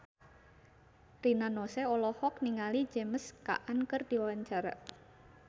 Rina Nose olohok ningali James Caan keur diwawancara